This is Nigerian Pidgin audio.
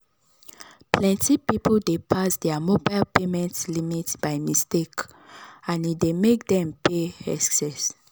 plenty people dey pass their mobile payment limit by mistake and e dey make dem pay excess